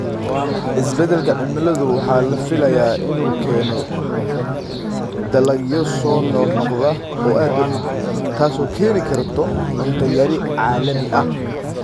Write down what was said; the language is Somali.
Isbeddelka cimiladu waxa la filayaa in uu keeno dalagyo soo noqnoqda oo aad u xun, taas oo keeni karta cunto yari caalami ah.